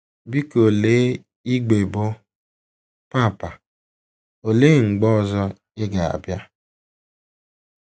Biko lee igbe bụ́ “ Papa, Olee Mgbe Ọzọ Ị Ga - abịa? ”